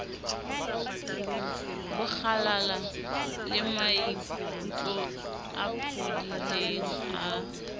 bokgalala lemaikutlo a phodileng a